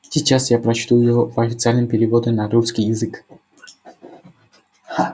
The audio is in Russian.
сейчас я прочту его в официальном переводе на русский язык